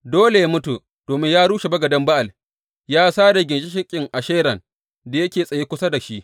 Dole yă mutu, domin ya rushe bagaden Ba’al, ya sare ginshiƙin Asheran da yake tsaye kusa da shi.